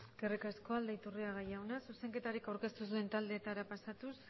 besterik ez eskerrik asko aldaiturriaga jauna zuzenketarik aurkeztu ez duen taldeetara pasatuz